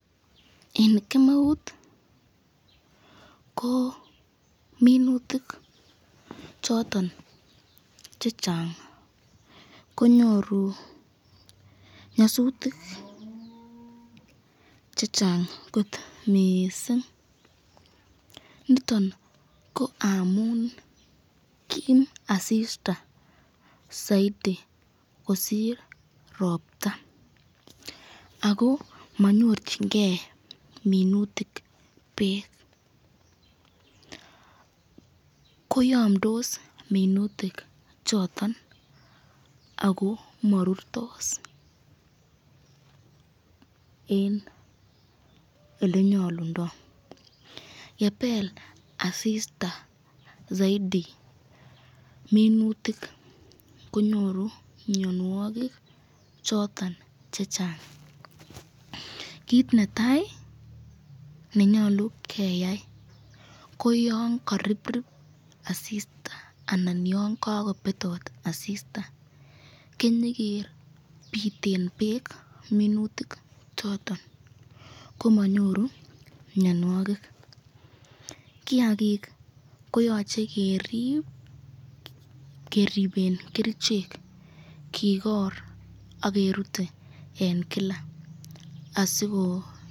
En kemeut ko minutik choton che chang konyoru nyasutik che chang kot miising niton ko amun kiim asista saiti kosir ropta ako manyorchingei minutik beek koyomdos minutik choton ako marurtos en olenyolundoi yepel asista zaiti minutik konyoru mionwokik choton che chang kiit netai nenyolu keyai koyon kariprip asista anan yon kakopetot asista kenyeker piten beek minutik choton komanyoru mionwokik kiakik koyochei kerip keripen kerchek kikor akerutei en kila asiko.